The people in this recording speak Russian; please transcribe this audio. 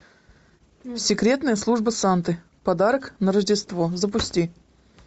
секретная служба санты подарок на рождество запусти